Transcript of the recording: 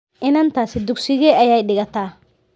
Inantaasi dugsigee ayay dhigataa?